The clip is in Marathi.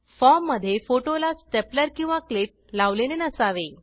फॉर्म मध्ये फोटो ला स्टेप्लर किंवा क्लिप लावलेले नसावे